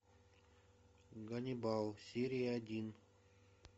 ганнибал серия один